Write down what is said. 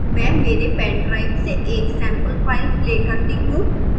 मैं मेरे pendrive से एक sample file play करता हूँ